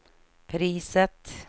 priset